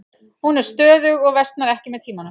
Hún er stöðug og versnar ekki með tímanum.